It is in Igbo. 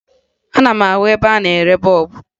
Ana m ahụ ebe a na-ere bọọbụ